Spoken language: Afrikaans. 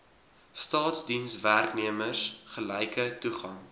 staatsdienswerknemers gelyke toegang